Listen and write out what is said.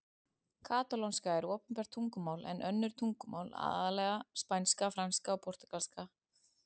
Katalónska er opinbert tungumál en önnur tungumál, aðallega spænska, franska og portúgalska, eru einnig töluð.